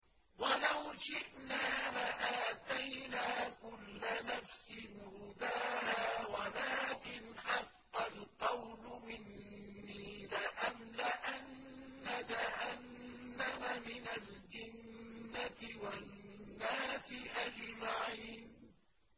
وَلَوْ شِئْنَا لَآتَيْنَا كُلَّ نَفْسٍ هُدَاهَا وَلَٰكِنْ حَقَّ الْقَوْلُ مِنِّي لَأَمْلَأَنَّ جَهَنَّمَ مِنَ الْجِنَّةِ وَالنَّاسِ أَجْمَعِينَ